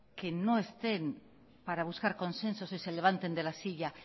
que no estén para buscar consensos y se levanten de la silla